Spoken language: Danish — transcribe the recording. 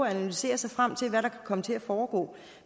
at analysere sig frem til hvad der kan komme til at foregå